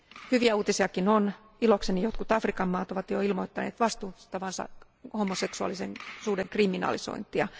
Hyviä uutisiakin on ilokseni jotkut Afrikan maat ovat jo ilmoittaneet vastustavansa homoseksuaalisuuden kriminalisointia.